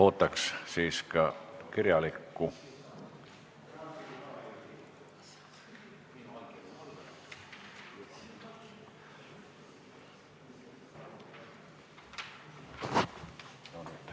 Ootaks siis ka kirjalikku ettepanekut.